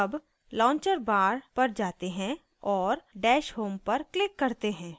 अब launcher bar पर जाते हैं और dash home पर क्लिक करते हैं